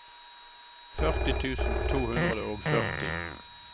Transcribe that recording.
førti tusen to hundre og førti